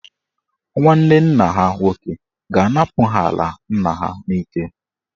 Nwanne nna ha nwoke ga-anapụ ha ala nna ha n'ike.